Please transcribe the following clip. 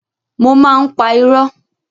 Mo máa ń pa irọ́.